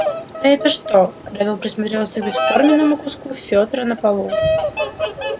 а это что реддл присмотрелся к бесформенному куску фётра на полу